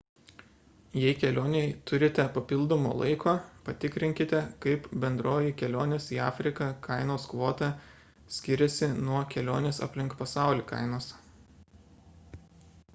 jei kelionei turite papildomo laiko patikrinkite kaip bendroji kelionės į afriką kainos kvota skiriasi nuo kelionės aplink pasaulį kainos